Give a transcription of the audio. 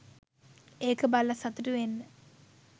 ඒක බලලා සතුටු වෙන්න.